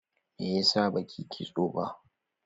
Me yasa baki yi kitso ba?